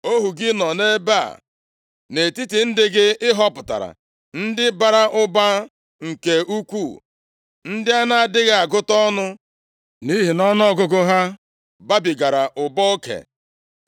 Ohu gị nọ nʼebe a, nʼetiti ndị gị ị họpụtara, ndị bara ụba nke ukwuu, ndị a na-adịghị agụta ọnụ nʼihi nʼọnụọgụgụ ha babigara ụba oke.